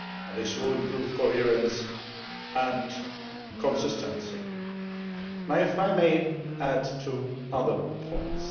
This will improve coherence and consistency. If I may add two other points.